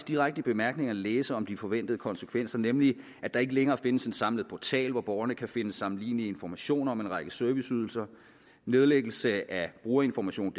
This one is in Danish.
direkte i bemærkningerne læse om de forventede konsekvenser nemlig at der ikke længere findes en samlet portal hvor borgerne kan finde sammenlignelige informationer om en række serviceydelser nedlæggelse af brugerinformationdk